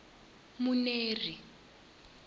muneri